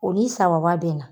O ni saba saba bɛnna.